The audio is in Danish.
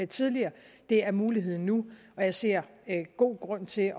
tidligere det er muligheden nu og jeg ser god grund til